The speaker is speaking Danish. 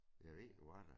Ja ved du hva da